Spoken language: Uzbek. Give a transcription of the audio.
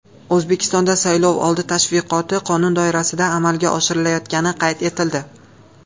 O‘zbekistonda saylovoldi tashviqoti qonun doirasida amalga oshirilayotgani qayd etildi.